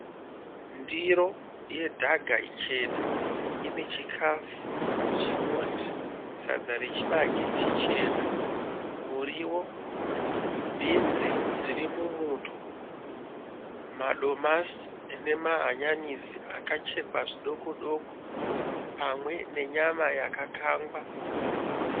Ndiro yedhaga ichena inechikafu chinoti sadza rechibage chichena , muriwo, bhinzi dziri mumuto, madomasi nemahanyanisi akachekwa zvidokodoko pamwe nenyama yakakangwa.